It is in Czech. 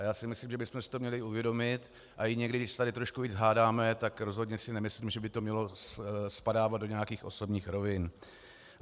A já si myslím, že bychom si to měli uvědomit a i někdy, když se tady trošku víc hádáme, tak rozhodně si nemyslím, že by to mělo spadávat do nějakých osobních rovin.